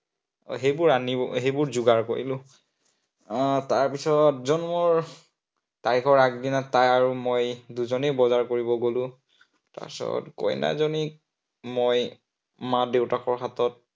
সেইবোৰ আনিও, সেইবোৰ যোগাৰ কৰিলো। আহ তাৰপিছত যোন মোৰ, আইগৰাকী তাই আৰু মই দুজনেই বজাৰ কৰিব গলো। তাৰপিছত মইনাজনীক মই মাক-দেউতাকৰ হাতত